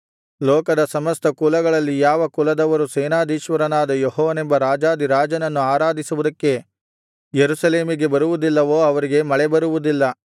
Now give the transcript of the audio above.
ಲೋಕದ ಸಮಸ್ತ ಕುಲಗಳಲ್ಲಿ ಯಾವ ಕುಲದವರು ಸೇನಾಧೀಶ್ವರನಾದ ಯೆಹೋವನೆಂಬ ರಾಜಾಧಿರಾಜನನ್ನು ಆರಾಧಿಸುವುದಕ್ಕೆ ಯೆರೂಸಲೇಮಿಗೆ ಬರುವುದಿಲ್ಲವೋ ಅವರಿಗೆ ಮಳೆಬರುವುದಿಲ್ಲ